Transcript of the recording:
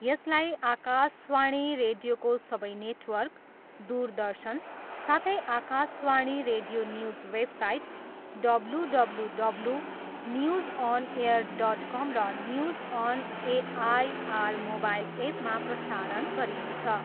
यसलाई आकाशवाणी रेडियोको सबै नेटवर्क, दुरदर्शन साथै Akashvani radio news website WWW news on air dot com र न्युज अन एआइआर मोबाइल एपमा प्रसारण गरिनेछ।